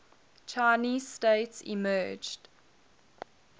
chinese state emerged